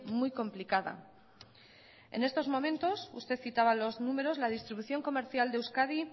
muy complicada en estos momentos usted citaba los números la distribución comercial de euskadi